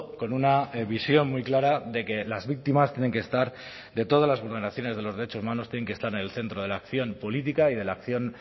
con una visión muy clara de que las víctimas tienen que estar de todas las vulneraciones de los derechos humanos tienen que estar en el centro de la acción política y de la acción